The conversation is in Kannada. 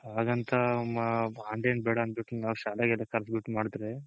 ಹಾಗಂತ ನಾವ್ online ಬೇಡ ಅಂದ್ಬಿಟ್ಟ್ ನಾವ್ ಶಾಲೆಗಳನ್ನ ಕರ್ದ್ ಬಿಟ್ಟ್ ಮಾಡ್ದ್ರೆ